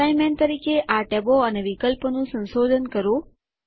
assignment તરીકે આ ટેબો અને વિકલ્પો નું સંશોધન કરો